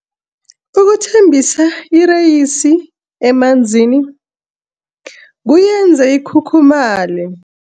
Ukuthambisa ireyisi emanzini kuyenza ikhukhumaye.